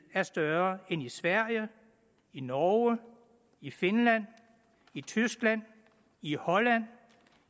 er større end i sverige i norge i finland i tyskland i holland